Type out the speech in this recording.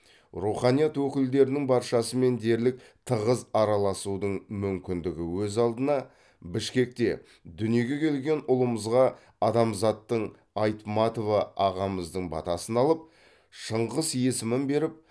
руханият өкілдерінің баршасымен дерлік тығыз араласудың мүмкіндігі өз алдына бішкекте дүниеге келген ұлымызға адамзаттың айтматова ағамыздың батасын алып шыңғыс есімін беріп